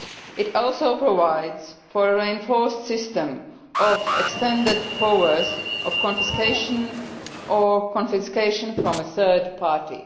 It also provides for a reinforced system of extended powers of confiscation or confiscation from a third party.